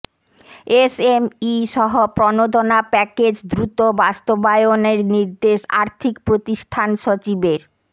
এসএমইসহ প্রণোদনা প্যাকেজ দ্রুত বাস্তবায়নের নির্দেশ আর্থিক প্রতিষ্ঠান সচিবের